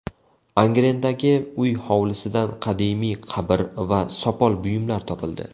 Angrendagi uy hovlisidan qadimiy qabr va sopol buyumlar topildi.